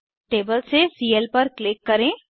table से CL पर click करें